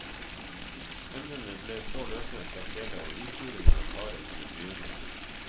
Emnene ble så løsnet fra fjellet og uthulingen av karet kunne begynne.